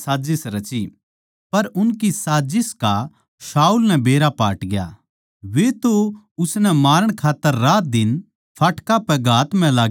पर उनकी साजिस का शाऊल नै बेरा पाटग्या वे तो उसनै मारण खात्तर रातदिन फाटकां पै दाव म्ह लाग्गे रहवैं थे